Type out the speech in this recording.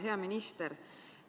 Hea minister!